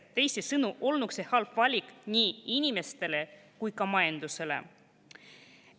Teisisõnu olnuks see halb valik nii inimestele kui ka majandusele.